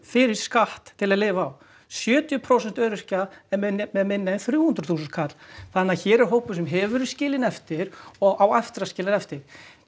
fyrir skatt til að lifa á sjötíu prósent þeirra er með minna en þrjú hundruð þúsund kall þannig að hér er hópur sem hefur verið skilinn eftir og á aftur að skilja eftir